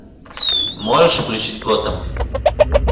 можешь включить готэм